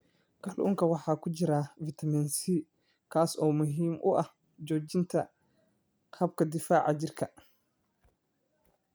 Kalluunka waxaa ku jira fitamiin C, kaas oo muhiim u ah xoojinta habka difaaca jirka.